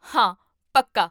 ਹਾਂ ਪੱਕਾ